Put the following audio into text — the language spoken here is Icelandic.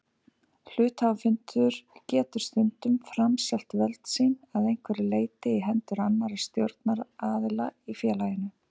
Hluthafafundur getur stundum framselt völd sín að einhverju leyti í hendur annarra stjórnunaraðila í félaginu.